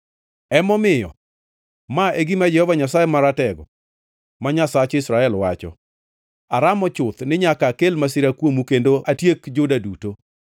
“Emomiyo, ma e gima Jehova Nyasaye Maratego, ma Nyasach Israel, wacho: Aramo chuth ni nyaka akel masira kuomu kendo atiek Juda duto.